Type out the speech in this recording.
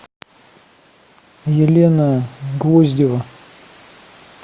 елена гвоздева